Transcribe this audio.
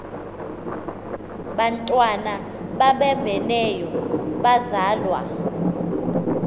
bantwana babambeneyo bazalwa